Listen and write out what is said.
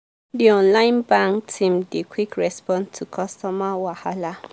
the online bank team dey quick respond to customer wahala.